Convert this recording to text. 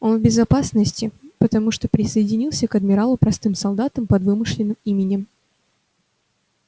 он в безопасности потому что присоединился к адмиралу простым солдатом под вымышленным именем